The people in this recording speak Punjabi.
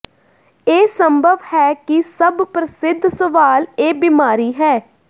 ਇਹ ਸੰਭਵ ਹੈ ਕਿ ਸਭ ਪ੍ਰਸਿੱਧ ਸਵਾਲ ਇਹ ਬੀਮਾਰੀ ਹੈ